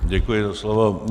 Děkuji za slovo.